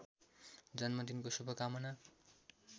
जन्मदिनको शुभकामना